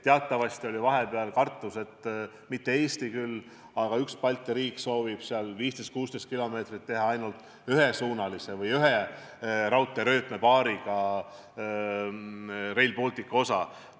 Teatavasti oli vahepeal kartus, et üks Balti riik, mitte küll Eesti, soovib 15–16 km ulatuses teha ainult ühesuunalise või ühe raudteerööpapaariga osa.